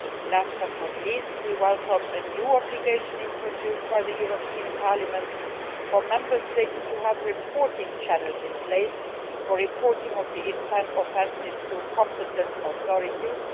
Last, but not least, we welcome a new obligation introduced by the European Parliament for Member States to have reporting channels in place for reporting of the offences to competent authorities.